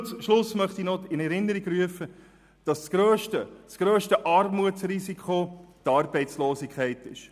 Zum Schluss möchte ich noch in Erinnerung rufen, dass das grösste Armutsrisiko die Arbeitslosigkeit ist.